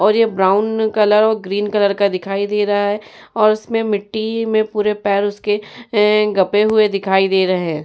और ये brown colour और ग्रीन कलर का दिखाई दे रहा है और उसमें मिट्टी में पूरे पैर उसके ऐं गपे हुए दिखाई दे रहे हैं।